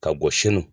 Ka bɔ sini